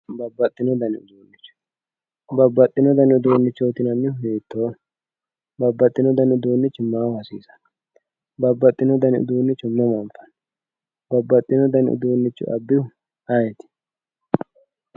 babbaxxino dani uduunnicho babbaxxino dani uduunnicho yineemmohu hiittooho babbaxxino dani uduunnichi maaho hasiisanno babbaxxino dani uduunnicho mama anfanni babbaxino dani uduunnicho abbihu ayeeti.